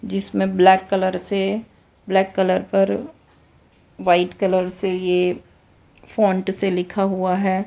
जिसमें black colour से black colour पर व्हाइट कलर से ये फॉन्ट से लिखा हुआ है।